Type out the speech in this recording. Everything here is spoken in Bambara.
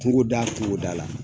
Kungo da kungo da la